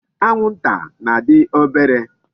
Anwụnta na-adị obere.